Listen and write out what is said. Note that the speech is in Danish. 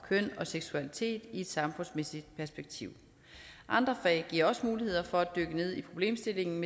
køn og seksualitet i et samfundsmæssigt perspektiv andre fag giver også muligheder for at dykke ned i problemstillingen